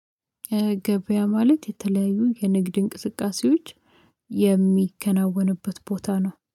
ገበያ ማለት የተለያዩ የንግድ እንቅስቃሴዎች የሚከናወንበት ቦታ ነው።